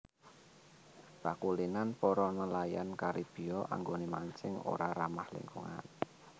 Pakulinan para nelayan Karibia anggoné mancing ora ramah lingkungan